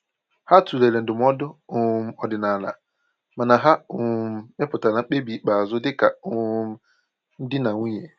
Ha tụlere ndụmọdụ um ọdịnala, mana ha um mepụtara mkpebi ikpeazụ dịka um di na nwunye.